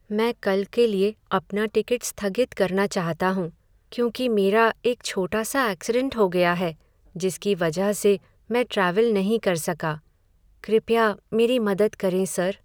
मैं कल के लिए अपना टिकट स्थगित करना चाहता हूँ, क्योंकि मेरा एक छोटा सा ऐक्सिडेंट हो गया है, जिसकी वजह से मैं ट्रैवल नहीं कर सका। कृपया मेरी मदद करें, सर।